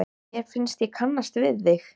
Mér finnst ég kannast við þig!